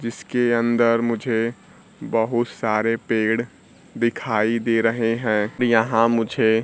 जिसके अंदर मुझे बहुत सारे पेड़ दिखाई दे रहे हैं यहां मुझे--